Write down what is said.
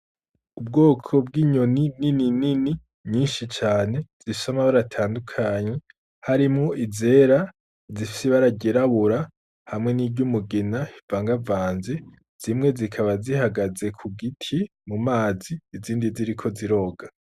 Ubwoko bw'inyoni nini nini nyinshi cane zifise amabara atandukanye harimwo izera zifise ibara ry'irabura hamwe n'iryumugina rivangavanze, zimwe zikaba zihagaze ku giti ku mazi izindi zikaba ziriko ziroga.